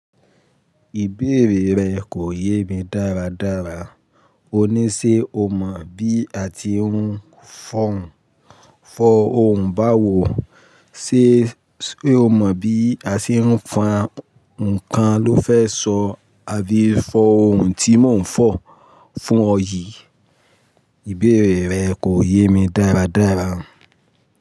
Ìbéèrè rẹ kò yé mi dáradára. Ò ní ṣe o mọ bí a ti ń fọ òǹbàwò, ṣe o mọ bí a ṣe ń fọn ǹkan ló fẹ́ sọ, àbí fọ ohun tí mò ń fọ fún ọ yìí? Ìbéèrè rẹ kò yé mi dáradára.